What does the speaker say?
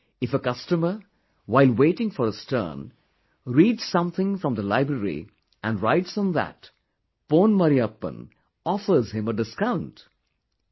If a customer, while waiting for his turn, reads something from the library and writes on that, Pon Marriyappan, offers him a discount...